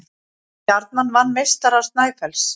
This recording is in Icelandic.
Stjarnan vann meistara Snæfells